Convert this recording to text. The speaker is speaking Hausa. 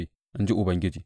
in ji Ubangiji.